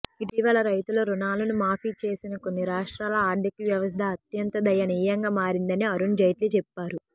ఇటీవల రైతుల రుణాలను మాఫీ చేసిన కొన్ని రాష్ట్రాల ఆర్థిక వ్యవస్థ అత్యంత దయనీయంగా మారిందని అరుణ్ జైట్లీ చెప్పారు